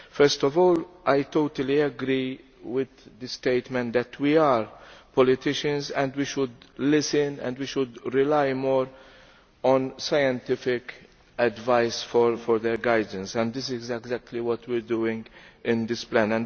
First of all, I totally agree with the statement that we are politicians and we should listen, we should rely more on scientific advice for guidance and this is exactly what we are doing in this plan.